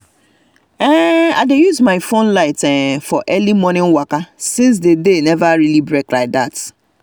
i dey use my um phone light um for early momo waka since day never really break like that